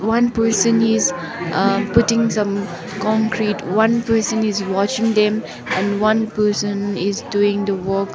one person is ah putting some concrete one person is washing them and one person is doing the work.